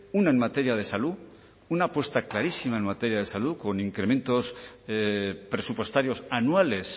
una en materia de salud una apuesta clarísima en materia de salud con incrementos presupuestarios anuales